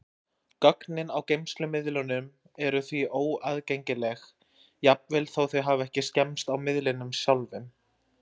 Gögnin á geymslumiðlunum eru því óaðgengileg, jafnvel þó þau hafi ekki skemmst á miðlinum sjálfum.